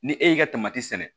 Ni e y'i ka sɛnɛ